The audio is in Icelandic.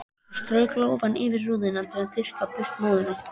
Hún strauk lófanum yfir rúðuna til að þurrka burt móðuna.